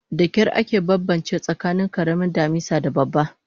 Dakyar ake banbance tsakanin karamin damisa da babban